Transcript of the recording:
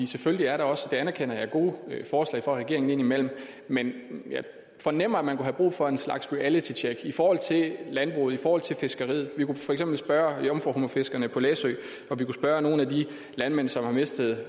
selvfølgelig er der også det anerkender jeg gode forslag fra regeringen indimellem men jeg fornemmer at man kunne have brug for en slags realitytjek i forhold til landbruget i forhold til fiskeriet vi kunne for eksempel spørge jomfruhummerfiskerne på læsø og vi kunne spørge nogle af de landmænd som har mistet